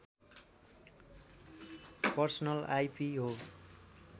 personal IP हो